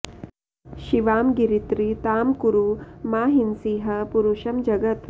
शिवां गिरित्र तां कुरु मा हिंसीः पुरुषं जगत्